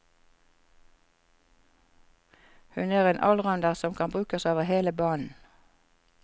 Hun er en allrounder som kan brukes over hele banen.